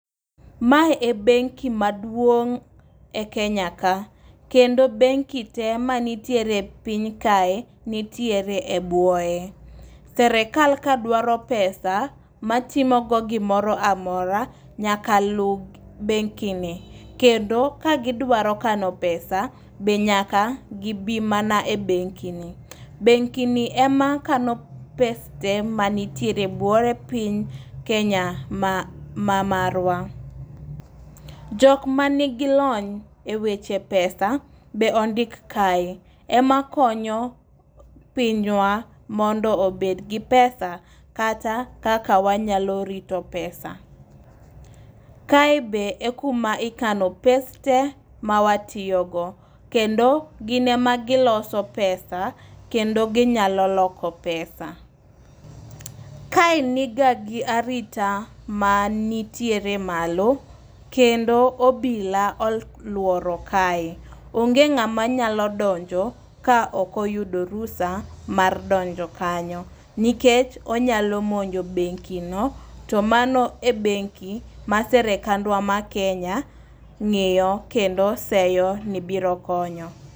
Mae e benki maduong' e Kenya ka kendo benki te manitiere piny kae nitiere e bwoye. Serikal kawdwaro pesa matimo go gimoro amora nyaka luw bengi ni kendo ka gidwaro kano pesa be nyaka gibi mana e bengi ni. Bengi ni ema kano pes ta mnitiere e buoye piny kenya ma ma marwa. Jok manigi lony e weche pesa be ondik kae. Ema konyo pinywa mondo obed gi pesa kata kaka wanyalo rito pesa. Kae be ekuma ikano pes te mawatiyo go kendo gin ema giloso pesa kendo ginyalo loko pesa. Kae niga gi arita ma nitiere malo kendo obila ol oluoro kae .Onge ng'ama nyalo donjo ka ok oyudo rusa mar donjo kanyo nikech onyalo monjo bengi no to mano e bengi ma sirikandwa ma kenya ng'iyo kendo seyo ni biro konyo.